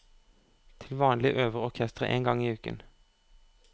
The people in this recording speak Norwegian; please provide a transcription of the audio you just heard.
Til vanlig øver orkesteret én gang i uken.